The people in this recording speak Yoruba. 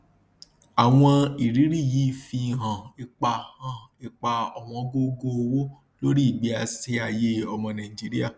àwọn irírí yìí fi hàn ipa hàn ipa òwóngógó owó lórí ìgbésíayé ọmọ nàìjíríà